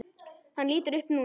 Hann lítur upp núna.